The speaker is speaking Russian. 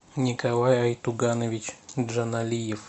николай айтуганович джаналиев